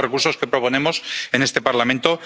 Esos son los recursos que proponemos en este Parlamento.